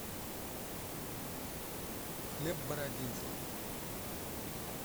хлеб бородинский